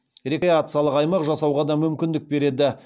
рекреациялық аймақ жасауға да мүмкіндік береді